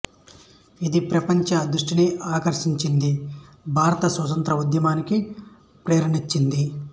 ఇది ప్రపంచ దృష్టిని ఆకర్షించింది భారత స్వాతంత్ర్య ఉద్యమానికి ప్రేరణనిచ్చింది